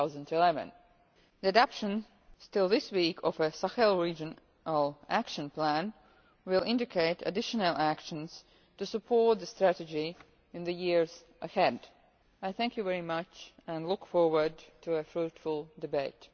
in 2011. The adoption still this week of a Sahel Regional Action Plan will indicate additional actions to support the strategy in the years ahead. I thank you very much and look forward to a fruitful debate.